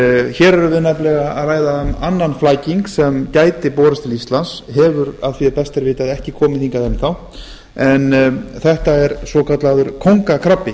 hér erum við nefnilega að ræða um annan flæking sem gæti borist til íslands hefur að því er best er vitað ekki komið hingað enn þá en þetta er svokallaður kóngakrabbi